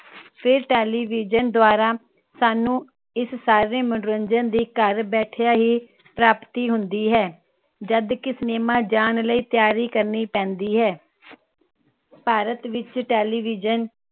ਫੇਰ television ਦ੍ਵਾਰਾ ਸਾਨੂ ਇਸ ਸਾਰੇ ਮਨੋਰੰਜਨ ਦੀ ਘਰ ਬੈਠੇ ਹੀ ਪ੍ਰਾਪਤੀ ਹੁੰਦੀ ਹੈ ਜਦ ਕਿ cinema ਜਾਨ ਲਯੀ ਤਿਆਰੀ ਕਰਨੀ ਪੈਂਦੀ ਹੈ। ਭਾਰਤ ਵਿਚ television